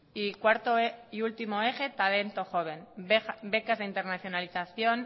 y cuarto y último eje talento joven becas de internacionalización